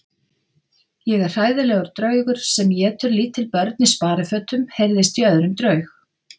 Ég er hræðilegur draugur sem étur lítil börn í sparifötum heyrðist í öðrum draug.